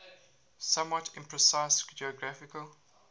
somewhat imprecise geographical